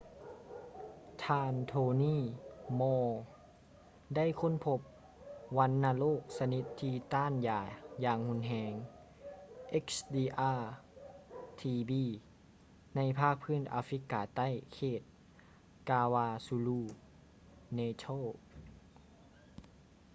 ທ່ານ tony moll ໄດ້ຄົ້ນພົບວັນນະໂລກຊະນິດທີ່ຕ້ານຢາຢ່າງຮຸນແຮງ xdr-tb ໃນພາກພື້ນອາຟຣິກາໃຕ້ເຂດ kwazulu-natal